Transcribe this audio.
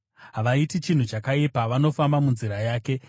Havaiti chinhu chakaipa; vanofamba munzira yake.